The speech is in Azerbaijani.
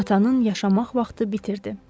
Atanın yaşamaq vaxtı bitirdi.